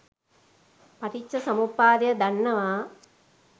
පටිච්චසමුප්පාදය දන්නවා